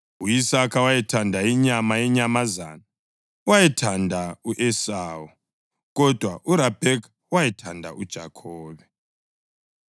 U-Isaka owayethanda inyama yenyamazana wayethanda u-Esawu, kodwa uRabheka wayethanda uJakhobe.